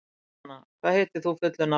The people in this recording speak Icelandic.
Júlíanna, hvað heitir þú fullu nafni?